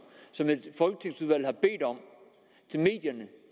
som et folketingsudvalg har bedt om til medierne